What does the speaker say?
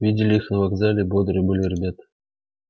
видели их на вокзале бодрые были ребята